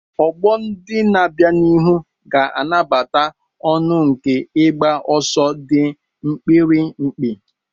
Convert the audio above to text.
Ọgbọ ndị na-abịa n'ihu ga-anabata ọṅụ nke ịgba ọsọ dị mkpirikpi.